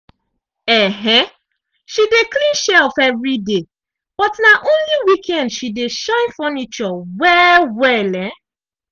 um she dey clean shelf evriday but na only weekend she dey shine furniture well-well. um